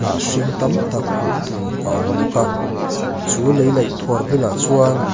hnah hring tam tak hmuh tur a awm bawk a chu lei laih khuar bulah chuan--